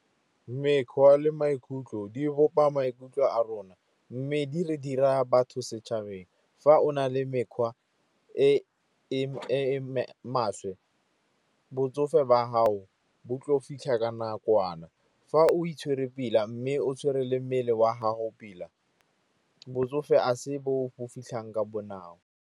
Mekgwa le maikutlo di bopa maikutlo a rona mme di re dira batho setšhabeng. F o na le mekgwa e e maswe botsofe ba gago bo tla o fitlha ka nakwana, fa o itshwere pila mme o tshwere le mmele wa gago pila, botsofe a se bo bo fitlhang ka bonako.